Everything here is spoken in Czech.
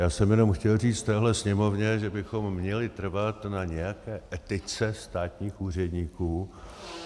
Já jsem jenom chtěl říct téhle Sněmovně, že bychom měli trvat na nějaké etice státních úředníků.